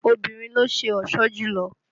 Obìnrin ló ń ṣe ọ̀ṣọ́ jùlọ